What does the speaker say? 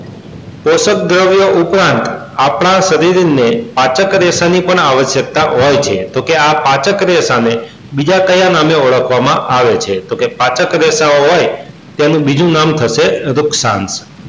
કોશક દ્રવ્યો ઉપર આપણા શરીર ને પાચક રેશા ની પણ આવશ્યકતા હોય છે તો કે આ પાચક રેશા ને બીજા કયા નામે ઓળખવા માં આવે છે તો કે પાચક રેષાઓ હોય તેનું બીજું નામ થશે